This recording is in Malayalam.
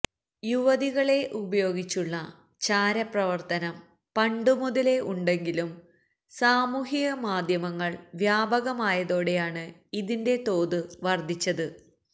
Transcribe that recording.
യുവതികളെ ഉപയോഗിച്ചുള്ള ചാരപ്രവര്ത്തനം പണ്ടുമുതലേ ഉണ്ടെങ്കിലും സാമൂഹിക മാധ്യമങ്ങള് വ്യാപകമായതോടെയാണ് ഇതിന്റെ തോത് വര്ധിച്ചത്